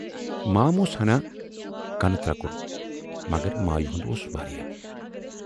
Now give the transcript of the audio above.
مام اوس ہَنا کَنہٕ ترکُر، مگر مایہِ ہُند اوس واریاہ۔